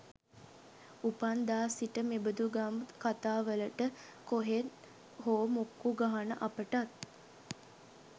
උපන් දා සිට මෙබඳු ගම් කතාවලට කොහෙන් හෝ මුක්කු ගහන අපටත්